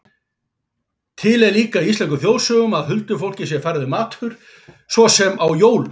Til er líka í íslenskum þjóðsögum að huldufólki sé færður matur, svo sem á jólum.